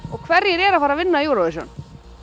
og hverjir eru að fara að vinna Eurovision